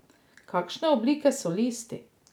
Kakšne oblike so listi?